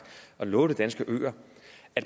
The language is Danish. og lovet de danske øer